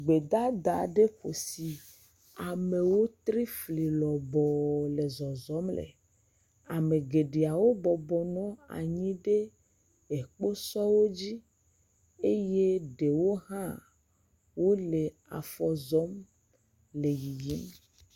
Gbedada aɖe ƒo si amewo tri fli lɔbɔɔ le zɔzɔm le. Ame geɖewo bɔbɔ nɔ anyi ɖe ekposɔwo dzi. eye ɖewo hã wole afɔ zɔm le yiyim.